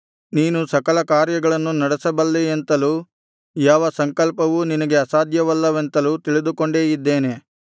ನೀನು ಸಕಲ ಕಾರ್ಯಗಳನ್ನು ನಡೆಸಬಲ್ಲೆಯೆಂತಲೂ ಯಾವ ಸಂಕಲ್ಪವೂ ನಿನಗೆ ಅಸಾಧ್ಯವಲ್ಲವೆಂತಲೂ ತಿಳಿದುಕೊಂಡೇ ಇದ್ದೇನೆ